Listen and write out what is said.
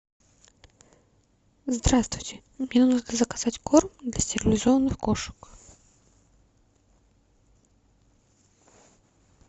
здравствуйте мне нужно заказать корм для стерилизованных кошек